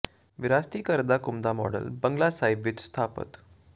ਵਿਰਾਸਤੀ ਘਰ ਦਾ ਘੁੰਮਦਾ ਮਾਡਲ ਬੰਗਲਾ ਸਾਹਿਬ ਵਿੱਚ ਸਥਾਪਤ